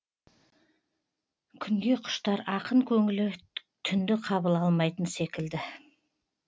күнге құштар ақын көңілі түнді қабыл алмайтын секілді